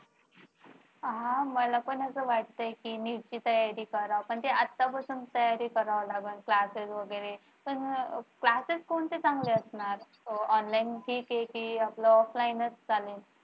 हा मला पण असं वाटतंय की मी NEET ची तयारी करावी पण त्या आतापासून तयारी करावा लागेल classes वगैरे पण classes कोणते चांगले असतात online की जे कि अह offline चांगलं